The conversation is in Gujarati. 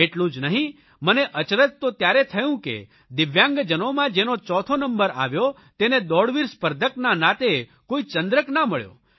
એટલું જ નહીં મને અચરજ તો ત્યારે થયું કે દિવ્યાંગજનોમાં જેનો ચોથો નંબર આવ્યો તેને દોડવીર સ્પર્ઘકના નાતે કોઇ ચંદ્રક ના મળ્યો